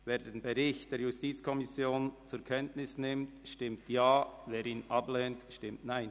Wer den Bericht der JuKo zur Kenntnis nimmt, stimmt Ja, wer dies ablehnt, stimmt Nein.